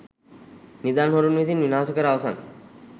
නිදන් හොරුන් විසින් විනාශ කර අවසන්.